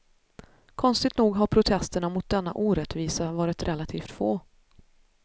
Konstigt nog har protesterna mot denna orättvisa varit relativt få.